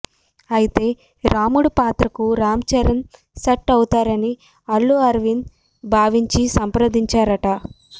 అయితే రాముడు పాత్రకు రామ్ చరణ్ సెట్ అవుతారని అల్లు అరవింద్ భావించి సంప్ర్రదించారట